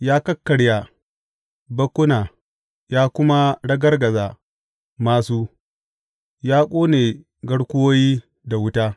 Ya kakkarya bakkuna ya kuma ragargaza māsu, ya ƙone garkuwoyi da wuta.